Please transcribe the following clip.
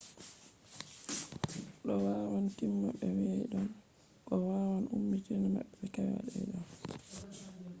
do wawan tima be kwaidon ko wawan upmina mah be kwaidon